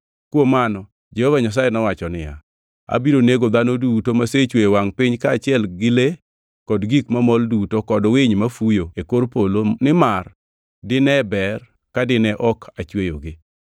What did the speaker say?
Kuom mano Jehova Nyasaye nowacho niya, “Abiro nego dhano duto masechweyo e wangʼ piny kaachiel gi le kod gik mamol duto kod winy mafuyo e kor polo nimar dine ber ka dine ok achweyogi.”